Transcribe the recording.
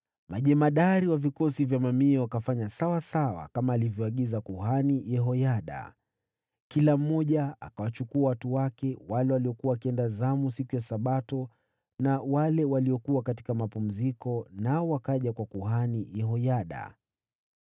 Wakuu wa vikosi vya mamia wakafanya kama vile kuhani Yehoyada aliagiza. Kila mmoja akawachukua watu wake, wale waliokuwa wakiingia zamu siku ya Sabato na wale waliokuwa wakienda mapumziko, nao wakaja kwa kuhani Yehoyada.